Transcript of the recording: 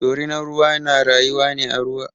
Dorinar ruwa na rayuwa ne a ruwa.